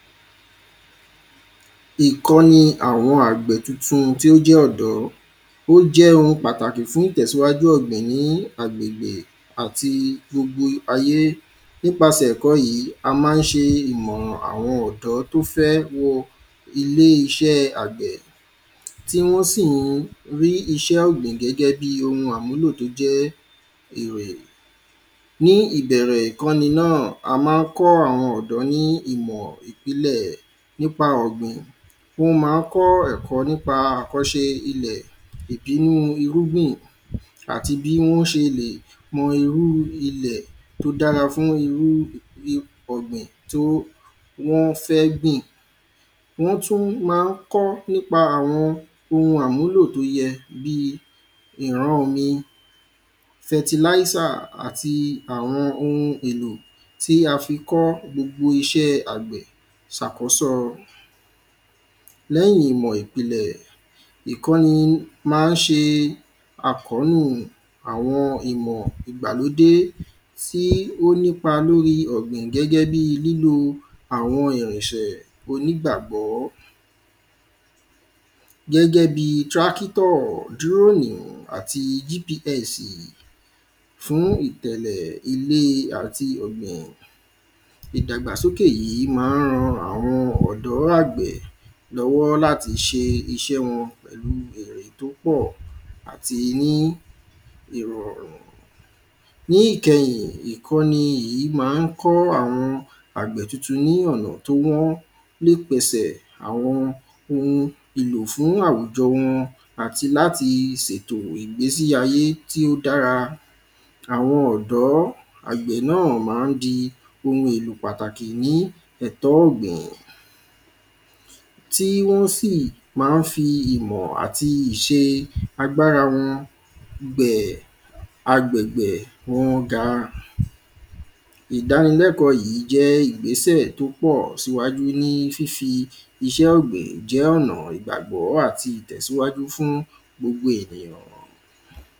Ìkọ́ni àwọn àgbẹ̀ tuntun tí ó jẹ́ ọ̀dọ́ O jẹ́ oun pàtàkì fún ìtẹ̀síwájú ọ̀gbìn ní agbègbè àti gbogbo ayé Nípasẹ ẹ̀kọ́ yìí a máa ń ṣe ìmọ̀ràn àwọn ọ̀dọ́ tí ó fẹ́ wọ ilé iṣẹ́ àgbẹ̀ tí wọ́n sì ń rí iṣẹ́ ọ̀gbìn gẹ́gẹ́ bíi oun àmúlò tí ó jẹ́ èrè Ní ìbẹ̀rẹ̀ ìkọ́ni náà a máa ń kọ́ àwọn ọ̀dọ́ ní ìmọ̀ ìpìnlẹ̀ nípa ọ̀gbìn Wọ́n máa ń kọ́ ẹ̀kọ́ nípa àkọ́ṣe ilẹ̀ Ìrúgbìn àti bí wọn ṣe lè mọ irú ilẹ̀ tí ó dára fún irú ọ̀gbìn tí wọń fẹ́ gbìn Wọ́n tún máa ń kọ́ nípa àwọn oun àmúlò tí ó yẹ bíi ìran omi fertilizer àti àwọn oun èlò tí a fi kọ́ gbogbo iṣẹ́ àgbẹ̀ ṣàkọ́sọ Lẹ́yìn ìmọ̀ ìpìlẹ̀ ìkọ́ni máa ń ṣe àkónú àwọn ìmọ̀ ìgbàlódé tí ó nípa lorí ọ̀gbìn gẹ́gẹ́ bíi lílò àwọn irinṣẹ́ onígbàgbọ̀ Gẹ́gẹ́ bíi tractor drone àti GPS fún itẹ̀lẹ̀ ilera ti ọ̀gbìn Ìdàgbàsókè yìí máa ń ran àwọn ọ̀dọ́ àgbẹ̀ lọ́wọ́ láti ṣe iṣẹ́ wọn pẹ̀lú èrè tí ó pọ̀ àti ní ìrọ̀rùn Ní ìkẹyìn ìkọ́ni yìí máa ń kọ́ àwọn àgbẹ̀ tuntun ní ọ̀nà tí wọ́n lè pèsè àwọn oun èlò fún àwùjọ wọn àti láti ṣètò ìgbésí ayé tí ó dára Àwọn ọ̀dọ́ àgbẹ̀ náà máa ń di oun èlò pàtàkì ní ètò ọ̀gbìn Tí wọn sì máa ń fi ìmọ̀ àti iṣẹ́ agbára wọn gbé agbègbè wọn ga Ìdánilẹ́kọ̀ọ́ yìí jẹ́ ìgbésẹ̀ tí ó pọ ṣíwájú ní fifi iṣẹ́ ọ̀gbìn jẹ́ ọ̀nà ìgbàgbọ́ àti ìtẹ̀síwájú fún gbogbo ènìyàn